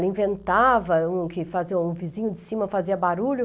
Ela inventava, um que o vizinho de cima fazia barulho.